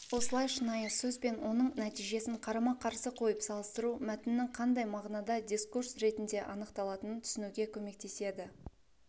осылай шынайы сөз бен оның нәтижесін қарама-қарсы қойып салыстыру мәтіннің қандай мағынада дискурс ретінде анықталатынын түсінуге көмектеседі